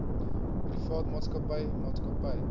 privaat maatskappy maatskappy